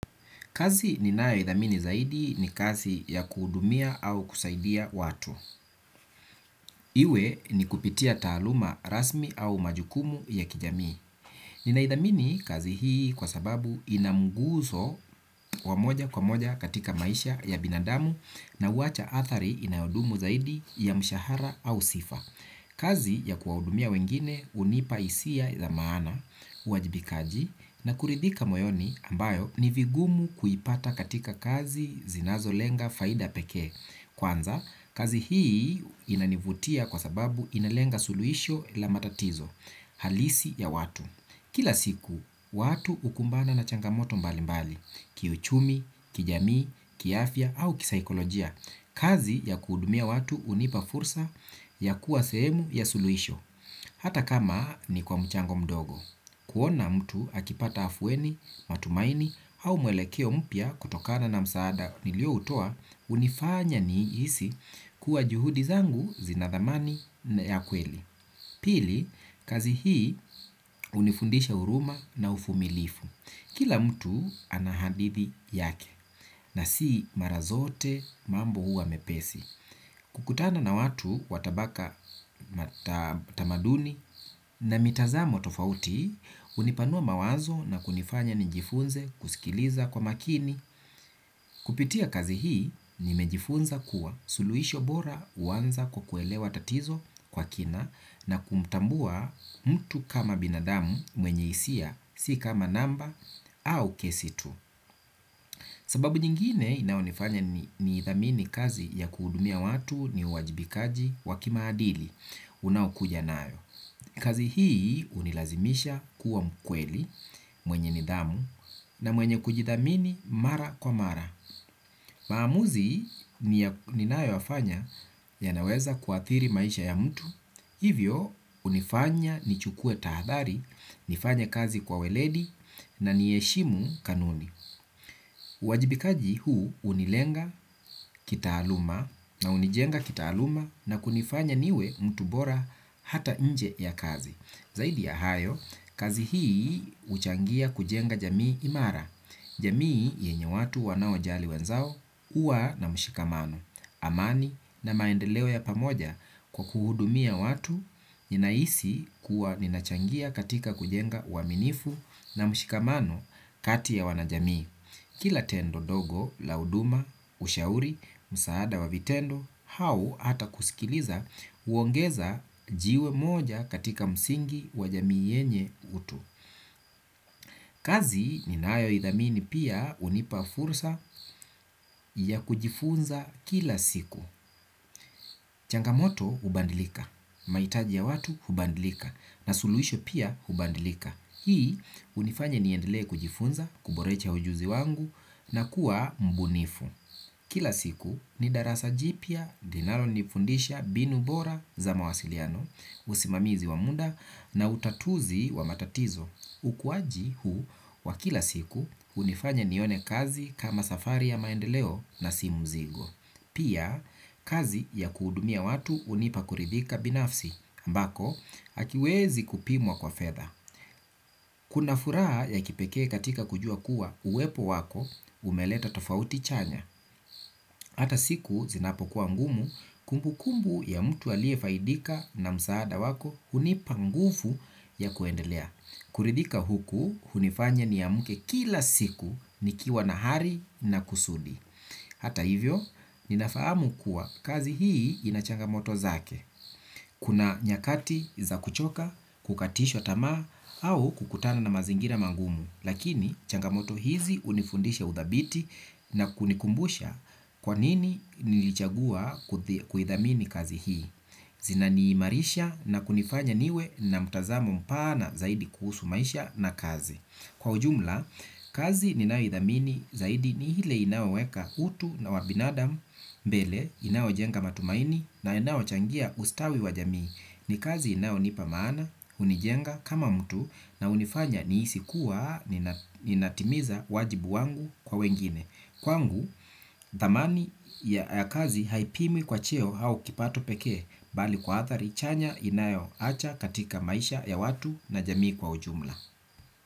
Kazi ninayoidhamini zaidi ni kasi ya kuhudumia au kusaidia watu. Iwe ni kupitia taaluma rasmi au majukumu ya kijamii. Ninaidhamini kazi hii kwa sababu inamguzo wamoja kwa moja katika maisha ya binadamu na huacha athari inayodumu zaidi ya mshahara au sifa. Kazi ya kuwahudumia wengine hunipa hisia za maana, uajibikaji na kuridhika moyoni ambayo ni vigumu kuipata katika kazi zinazo lenga faida pekee. Kwanza, kazi hii inanivutia kwa sababu inalenga suluisho la matatizo, halisi ya watu. Kila siku, watu ukumbana na changamoto mbali mbali, kiuchumi, kijamii, kiafya au kisaikolojia. Kazi ya kuhudumia watu hunipa fursa ya kuwa sehemu ya suluhisho. Hata kama ni kwa mchango mdogo kuona mtu akipata afueni, matumaini au mwelekeo mpya kutokana na msaada nilio utoa hunifanya niisi kuwa juhudi zangu zinathamani na ya kweli. Pili, kazi hii unifundisha uruma na ufumilifu. Kila mtu anahadithi yake. Na si marazote mambo huwa mepesi. Kukutana na watu watabaka tamaduni na mitazamo tofauti unipanua mawazo na kunifanya njifunze kusikiliza kwa makini. Kupitia kazi hii nimejifunza kuwa suluisho bora uwanza kukuelewa tatizo kwa kina na kumtambua mtu kama binadamu mwenye isia si kama namba au kesi tu. Sababu nyingine inayonifanya ni idhamini kazi ya kuhudumia watu ni uajibikaji wakimaadili unaokuja nayo. Kazi hii unilazimisha kuwa mkweli mwenye nidhamu na mwenye kujidhamini mara kwa mara. Maamuzi ni nayoyafanya ya naweza kuathiri maisha ya mtu. Hivyo unifanya ni chukue tahadhari, nifanye kazi kwa weledi na niheshimu kanuni. Wajibikaji huu unilenga kitaaluma na unijenga kitaaluma na kunifanya niwe mtu bora hata nje ya kazi. Zaidi ya hayo, kazi hii uchangia kujenga jamii imara. Jamii yenye watu wanao jali wenzao uwa na mshikamano. Amani na maendeleo ya pamoja kwa kuhudumia watu ninaisi kuwa ninachangia katika kujenga uaminifu na mshikamano kati ya wanajamii. Kila tendo dogo, la huduma, ushauri, msaada wavitendo, hau hata kusikiliza uongeza jiwe moja katika msingi wajamii yenye utu. Kazi ni nayo idhamini pia unipa fursa ya kujifunza kila siku. Changamoto hubandilika, mahitaji ya watu hubandilika na suluisho pia hubandilika. Hii hunifanya niendele kujifunza, kuborecha ujuzi wangu na kuwa mbunifu kila siku ni darasa jipya dinalonifundisha mbinu bora za mawasiliano usimamizi wa muda na utatuzi wa matatizo, ukuaji huu wa kila siku hunifanya nione kazi kama safari ya maendeleo na si mzigo. Pia kazi ya kuhudumia watu unipa kuridhika binafsi ambako akiwezi kupimwa kwa fedha. Kuna furaha ya kipekee katika kujua kuwa uwepo wako umeleta tofauti chanya. Hata siku zinapo kuwa ngumu kumbu kumbu ya mtu aliye faidika na msaada wako hunipangufu ya kuendelea. Kuridhika huku hunifanya niamke kila siku ni kiwa na hari na kusudi. Hata hivyo, ninafahamu kuwa kazi hii inachangamoto zake. Kuna nyakati za kuchoka, kukatisha tamaa, au kukutana na mazingira mangumu. Lakini changamoto hizi hunifundisha udhabiti na kunikumbusha kwa nini nilichagua kuidhamini kazi hii. Zina niimarisha na kunifanya niwe na mtazamo mpana zaidi kuhusu maisha na kazi. Kwa ujumla, kazi ninayo idhamini zaidi ni hile inayoweka utu na wabinadamu mbele, inayo jenga matumaini na inayo changia ustawi wa jamii. Ni kazi inayo nipa maana, hunijenga kama mtu na hunifanya ni isi kuwaa, ninatimiza wajibu wangu kwa wengine. Kwa ngu, dhamani ya kazi haipimwi kwa cheo hau kipato pekee bali kwa athari, chanya inayo acha katika maisha ya watu na jamii kwa ujumla.